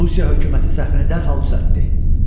Rusiya hökuməti səhvini dərhal düzəltdi.